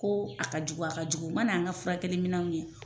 Ko a ka jugu, a ka jugu, u ma na an ka furakɛli minɛnw ye